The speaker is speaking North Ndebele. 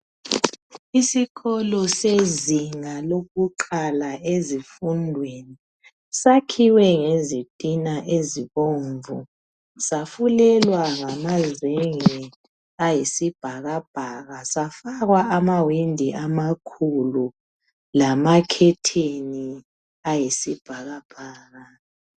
Isikolo sezinga lokuqala lezimfundweni. Sakhiwe ngezithina ezibomvu. Safulele ngamazenge ayisibhakabhaka, safakwa amahwindi amakhulu , lamakhetheni ayisibhakabhaka.